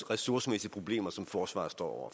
ressourcemæssige problemer som forsvaret står